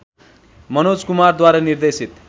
मनोज कुमारद्वारा निर्देशित